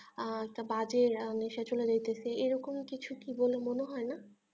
আহ বাজে নেশা চলে যাচ্ছে এরকম কি কিছু বলে মনে হয় না